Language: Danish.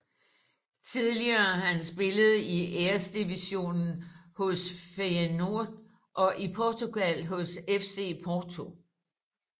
Tidligere har han spillet i Æresdivisionen hos Feyenoord og i Portugal hos FC Porto